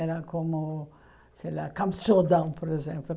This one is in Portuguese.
Era como, sei lá, Campos do Jordão, por exemplo.